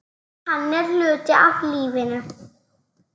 Hann er hluti af lífinu.